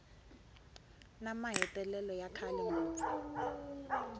na mahetelelo ya kahle ngopfu